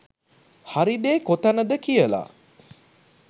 හරි දේ කොතනද කියලා.